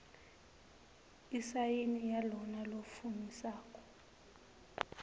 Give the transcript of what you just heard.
isayini yalona lofungisako